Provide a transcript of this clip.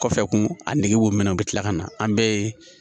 Kɔfɛ kun a nege b'o minɛ u bɛ tila ka na an bɛɛ ye